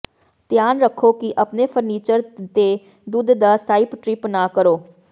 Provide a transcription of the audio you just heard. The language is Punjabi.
ਧਿਆਨ ਰੱਖੋ ਕਿ ਆਪਣੇ ਫਰਨੀਚਰ ਤੇ ਦੁੱਧ ਦਾ ਸਾਈਪ ਟ੍ਰਿਪ ਨਾ ਕਰੋ